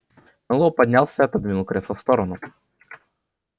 мэллоу поднялся отодвинул кресло в сторону